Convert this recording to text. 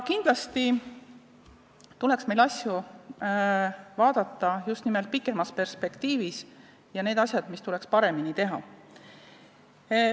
Kindlasti tuleks meil asju vaadata just nimelt pikemas perspektiivis ja aru saada, mida tuleks paremini teha.